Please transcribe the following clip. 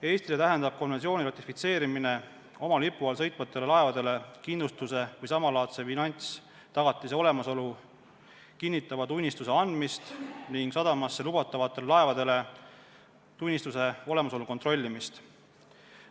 Eestile tähendab konventsiooni ratifitseerimine oma lipu all sõitvatele laevadele kindlustuse või samalaadse finantstagatise olemasolu kinnitava tunnistuse andmist ning sadamasse lubatavatel laevadel tunnistuse olemasolu kontrollimist.